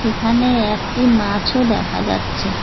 এখানে একটি মাছও দেখা যাচ্ছে।